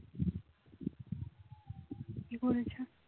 কি বলছে